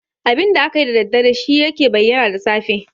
Abinda akayi da daddare shi yake bayyana da safe.